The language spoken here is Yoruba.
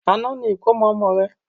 Àná ni ìkómọ ọmọ rẹ̀